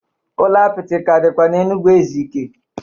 Ụlọ apịtị ka dịkwa n'Enugwu Ezike